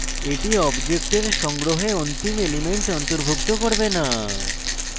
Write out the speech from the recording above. এটি অবজেক্টের সংগ্রহে অন্তিম element অন্তর্ভুক্ত করবে non